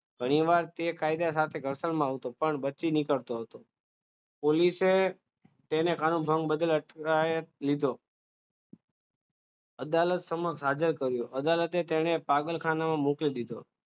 ઘણીવાર તે કાયદા ખાતે ઘર્ષણમાં હતો પણ પછી નીકળતો હતો પોલીસે તેને કાનૂનભંગ બદલ અટકાયત લીધો અદાલત સમક્ષ હાજર કર્યો અદાલતે તેને પાગલખાનામાં મૂકી દીધો